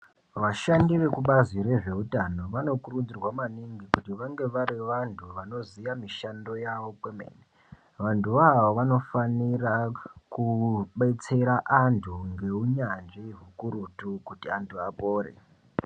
Vashandi vekubazi rezveutano vanokurudzirwa maningi kuti vange vari vantu vanoziya mishando yavo kwemene, vantuvo ava vanofanira kubetsera antu ngeunyanzvi ukurutu kuti antu apore.